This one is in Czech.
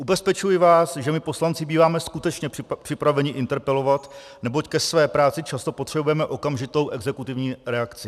Ubezpečuji vás, že my poslanci býváme skutečně připraveni interpelovat, neboť ke své práci často potřebujeme okamžitou exekutivní reakci.